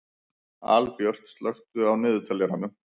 Albjört, slökktu á niðurteljaranum.